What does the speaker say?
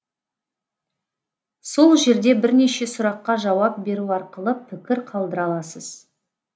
сол жерде бірнеше сұраққа жауап беру арқылы пікір қалдыра аласыз